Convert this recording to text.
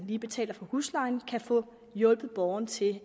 lige betaler for huslejen kan få hjulpet borgerne til